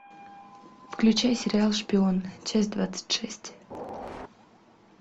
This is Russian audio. включай сериал шпион часть двадцать шесть